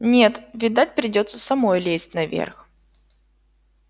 нет видать придётся самой лезть наверх